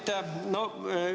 Aitäh!